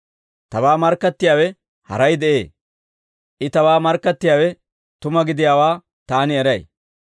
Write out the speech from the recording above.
Tabaa markkattiyaawe haray de'ee; I tabaa markkattiyaawe tuma gidiyaawaa taani eray.